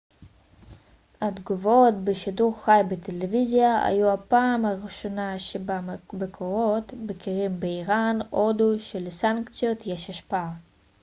התגובות בשידור חי בטלוויזיה היו הפעם הראשונה שבה מקורות בכירים באיראן הודו שלסנקציות יש השפעה